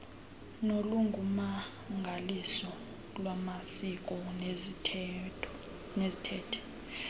nolungummangaliso lwamasiko neziithethe